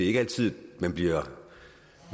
ikke altid man bliver